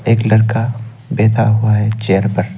एक लड़का बैठा हुआ है चेयर पर।